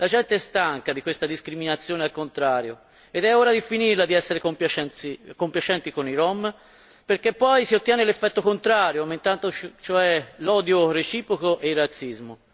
La gente è stanca di questa discriminazione al contrario ed è ora di finirla di essere compiacenti con i rom, perché poi si ottiene l'effetto contrario, aumentando cioè l'odio reciproco e il razzismo.